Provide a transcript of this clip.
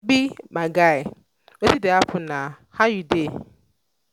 obi my guy wetin dey happen na? how you dey?